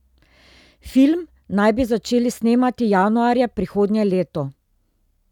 Film naj bi začeli snemati januarja prihodnje leto.